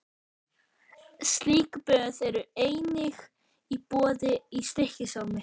Slík böð eru einnig í boði í Stykkishólmi.